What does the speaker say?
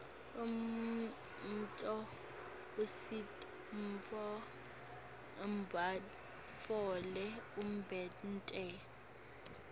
umnotfo usita bantfu batfole umdebenti